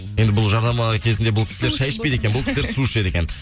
енді бұл жарнама кезінде бұл кісілер шай ішпейді екен бұл кісілер су ішеді екен